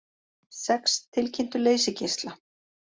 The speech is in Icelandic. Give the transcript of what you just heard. Sex tilkynntu leysigeisla